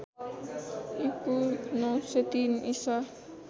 ईपू ९०३ ईसा